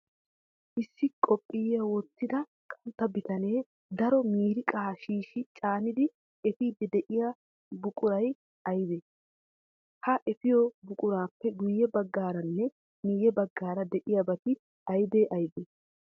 Issi qophiya wottida qantta bitanee daro miiriiqaa shiishshi caanidi efiiddi de'iyo buquray aybee? Ha efiyo buquraappe guyye baggaaranne miyye baggaara de'iyabati aybee aybee?